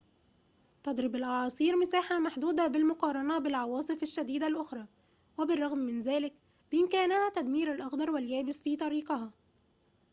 تضرب الأعاصير مساحة محدودة بالمقارنة بالعواصف الشديدة الأخرى وبالرغم من ذلك بإمكانها تدمير الأخضر واليابس في طريقها